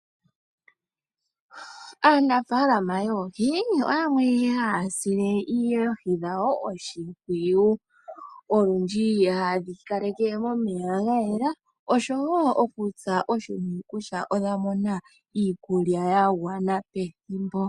Aanafalama yoohi oyo yamwe haya sile oohi dhawo oshimpwiyu. Olundji hadhi kale ke momeya gayela. Oshowo okusa oshimpwiyu kutya odha mona iikulya ya gwana pethimbo.